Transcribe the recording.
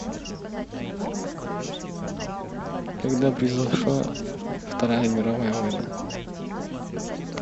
когда произошла вторая мировая война